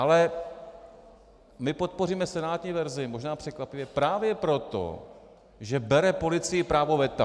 Ale my podpoříme senátní verzi možná překvapivě právě proto, že bere policii právo veta.